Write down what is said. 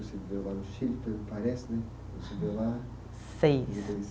Você viveu lá no Chile, pelo que parece, né? Estudou lá. Seis